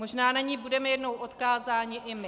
Možná na ni budeme jednou odkázáni i my.